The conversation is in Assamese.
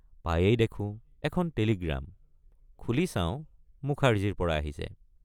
পায়েই দেখোঁ এখন টেলিগ্ৰাম খুলি চাওঁ মুখাৰ্জীৰপৰা আহিছে।